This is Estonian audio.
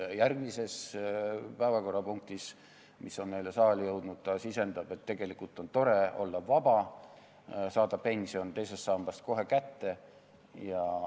Järgmises päevakorrapunktis, mis on saali jõudnud, sisendatakse, et tegelikult on tore olla vaba ja saada pension teisest sambast kohe kätte.